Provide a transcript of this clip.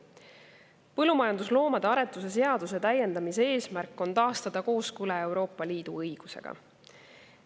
Põllumajandusloomade aretuse seaduse täiendamise eesmärk on taastada kooskõla Euroopa Liidu õigusega.